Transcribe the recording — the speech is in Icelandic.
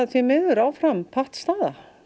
því miður áfram pattstaða